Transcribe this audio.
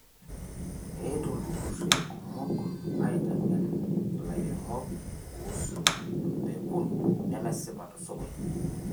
Eetuo ilturruri kumok aiteng'en lairemok kuusu mpekun nemesipa te sokoni